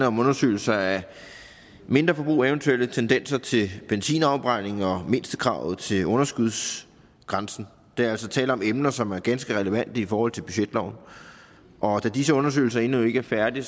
om undersøgelser af mindreforbrug eventuelle tendenser til benzinafbrænding og mindstekravet til underskudsgrænsen der er altså tale om emner som er ganske relevante i forhold til budgetloven og da disse undersøgelser endnu ikke er færdige